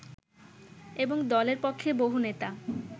এবং দলের পক্ষে বহু নেতা